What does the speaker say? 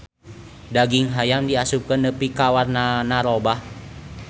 Daging hayam diasupkeun nepi ka warnana robah.